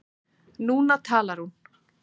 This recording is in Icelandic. Núna talar hún.